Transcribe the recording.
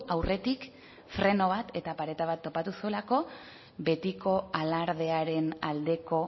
aurretik freno bat eta pareta bat topatu zuelako betiko alardearen aldeko